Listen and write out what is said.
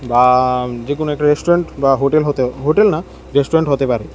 বা যে কোন একটা রেস্টুরেন্ট বা হোটেল হতো হোটেল না রেস্টুরেন্ট হতে পারে।